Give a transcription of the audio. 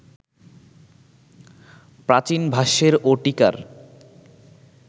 প্রাচীন ভাষ্যের ও টীকার